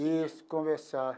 Isso, conversar.